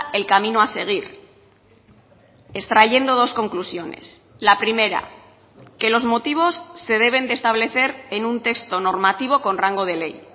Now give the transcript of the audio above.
el camino a seguir extrayendo dos conclusiones la primera que los motivos se deben de establecer en un texto normativo con rango de ley